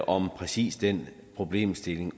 om præcis den problemstilling